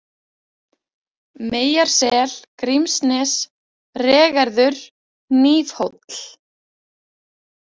Meyjarsel, Grímsnes, Regerður, Hnífhóll